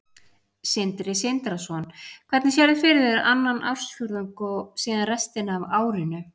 Sindri Sindrason: Hvernig sérðu fyrir þér annan ársfjórðung og síðan restina af árinu?